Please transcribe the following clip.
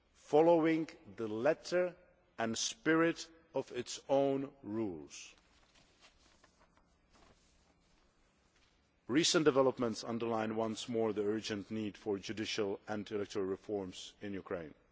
following the letter and spirit of its own rules. Recent developments underline once more the urgent need for judicial and electoral reforms in Ukraine.